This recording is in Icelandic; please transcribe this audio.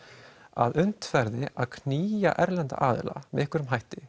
að unnt verði að knýja erlenda aðila með einhverjum hætti